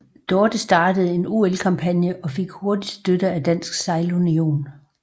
Dorte startede en OL kampagne og fik hurtigt støtte af Dansk Sejlunion